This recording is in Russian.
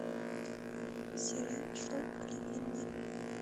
сериал шоу кливленда